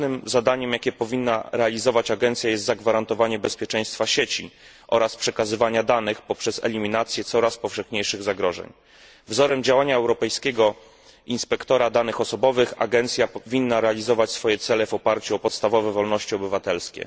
Ważnym zadaniem, jakie powinna realizować agencja, jest zagwarantowanie bezpieczeństwa sieci oraz przekazywanie danych poprzez eliminację coraz powszechniejszych zagrożeń. Wzorem działania Europejskiego Inspektora Danych Osobowych agencja powinna realizować swoje cele w oparciu o podstawowe wolności obywatelskie.